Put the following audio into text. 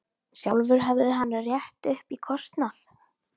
Sjálfur hefði hann rétt upp í kostnað.